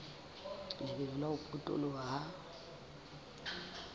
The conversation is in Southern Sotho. lebelo la ho potoloha ha